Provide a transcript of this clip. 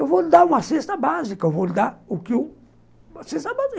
Eu vou lhe dar uma cesta básica, eu vou lhe dar o que eu... Uma cesta básica.